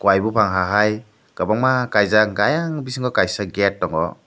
kuia bopang hahai kobangma kaijak ayang bisingo kaisa gate tango.